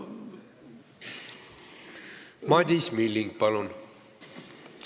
Madis Milling, palun!